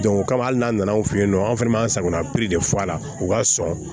o kama hali n'a nana anw fɛ yen nɔ an fɛnɛ b'an sagona piri de fɔ a la u ka sɔn